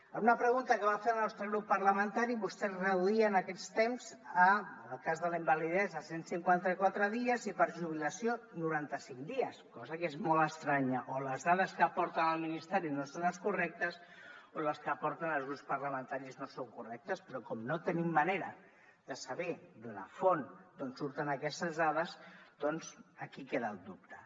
a una pregunta que va fer el nostre grup parlamentari vostès reduïen aquests temps a en el cas de la invalidesa cent i cinquanta quatre dies i per jubilació noranta cinc dies cosa que és molt estranya o les dades que aporten el ministeri no són les correctes o les que aporten els grups parlamentaris no són correctes però com no tenim manera de saber de la font d’on surten aquestes dades doncs aquí queda el dubte